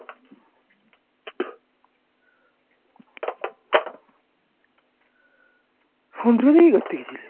শুনিসনি কি করতে গেছি